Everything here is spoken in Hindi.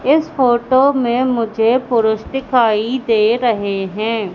इस फोटो में मुझे पुरुष दिखाई दे रहें हैं।